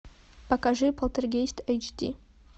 покажи полтергейст эйч ди